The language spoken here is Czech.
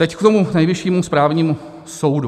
Teď k tomu Nejvyššímu správnímu soudu.